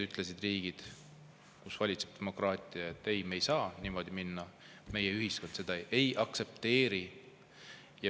Teised riigid, kus valitseb demokraatia, ütlesid, et me ei saa niimoodi minna, meie ühiskond seda ei aktsepteeri.